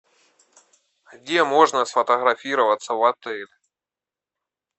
где можно сфотографироваться в отеле